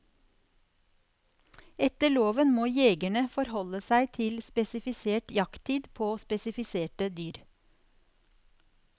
Etter loven må jegerne forholde seg til spesifisert jakttid på spesifiserte dyr.